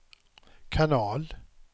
kanal